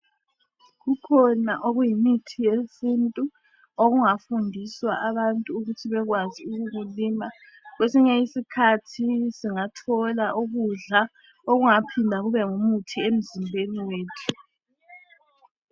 Kukhona okuyimithi yesintu okungafundiswa abantu ukuthi babekwazi ukukulima. Kwesinye isikhathi singathola ukudla okungaphinda kube ngumuthi emzimbeni yethu.